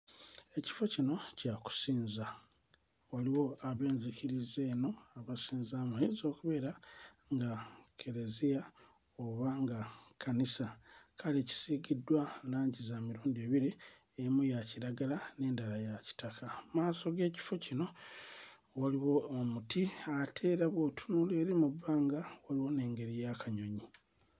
Ekifo kino kya kusinza waliwo ab'enzikiriza eno abasinzaamu ayinza okubeera nga kkereziya oba nga kkanisa kale kisiikiddwa langi za mirundi ebiri emu ya kiragala n'endala ya kitaka mmaaso g'ekifo kino waliwo omuti ate era bw'otunula eri mu bbanga waliwo n'engeri y'akanyonyi.